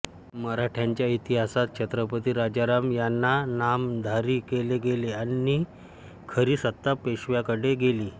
मराठ्यांच्या इतिहासात छत्रपती राजाराम यांना नामधारी केले गेले आणि खरी सत्ता पेशव्यांकडे गेली